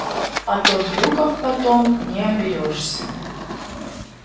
а то глюков потом не оберёшься